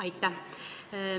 Aitäh!